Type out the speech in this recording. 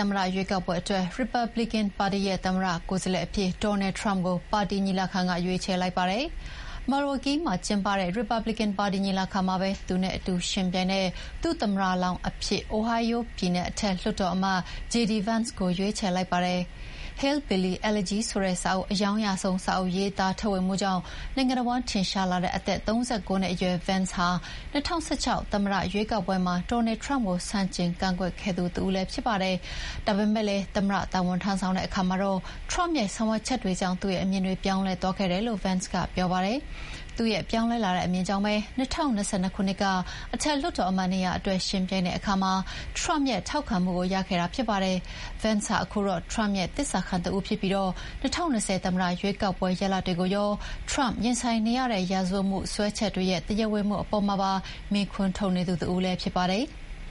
မ္မတရွေးကောက်ပွဲအတွက် ရီပတ်ဘလစ်ကန်ပါတီရဲ့သမ္မတလောင်းအဖြစ် Donald Trump ကို ပါတီညီလာခံကရွေးချယ်လိုက်ပါတယ်။ Milwaukee မှာကျင်းပတဲ့ ရီပတ်ဘလစ်ကန်ပါတီညီလာခံမှာပဲ သူနဲ့အတူယှဥ်ပြိုင်မယ့် ဒုသမ္မတလောင်းအဖြစ် အိုဟိုင်းယိုးပြည်နယ် အထက်လွှတ်တော်အမတ် JD Vance ကိုရွေးချယ်လိုက်ပါတယ်။ Hillbilly Elegy ဆိုတဲ့အရောင်းရဆုံး စာအုပ်ရေးသားထုတ်ဝေမှုကြောင့် နိုင်ငံတဝန်းထင်ရှားလာတဲ့ အသက် ၃၉ နှစ်အရွယ် Vance ဟာ ၂၀၁၆ သမ္မတရွေးကောက်ပွဲမှာ Trump ကို ဆန့်ကျင်ကန့်ကွက်ခဲ့သူ တဦးလည်းဖြစ်ခဲ့ပါတယ်။ ဒါပေမယ့်လည်း သမ္မတတာဝန်ထမ်းဆောင်တဲ့အခါမှာတော့ Trump ရဲ့ ဆောင်ရွက်ချက်တွေကြောင့် သူ့ရဲ့အမြင်တွေပြောင်းလဲသွားခဲ့တယ်လို့ Vance ကပြောပါတယ်။ သူ့ရဲ့ပြောင်းလဲလာတဲ့အမြင်ကြောင့် ၂၀၂၂ ခုနှစ်က အထက်လွှတ်တော်အမတ်နေရာအတွက် ယှဥ်ပြိုင်တဲ့အခါမှာ Trump ရဲ့ ထောက်ခံမှုကိုရခဲ့တာဖြစ်ပါတယ်။ Vance ဟာခုတော့ Trump ရဲ့ သစ္စာခံတဦးဖြစ်ပြီး ၂၀၂၀ သမ္မတရွေးကောက်ပွဲရလဒ်တွေကိုရော Trump ရင်ဆိုင်နေရတဲ့ ရာဇဝတ်မှုစွဲချက်တွေရဲ့ တရားဝင်မှုအပေါ်မှာပါ မေးခွန်းထုတ်နေသူလည်းဖြစ်ပါတယ်။